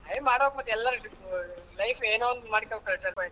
ಹೇ ಮಾಡ್ಬೇಕು ಮತ್ತೆ ಎಲ್ಲರ್ life ಯೇನೋ ಒಂದು ಮಾಡ್ಕೋಬೇಕ್ .